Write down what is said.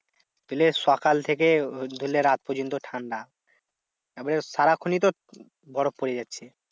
ধরলে সকাল থেকে ধরলে রাত পর্যন্ত ঠান্ডা। তারপরে সারাক্ষণই তো বরফ পরে যাচ্ছে।